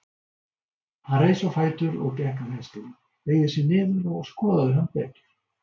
Hann reis á fætur og gekk að hestinum, beygði sig niður og skoðaði hann betur.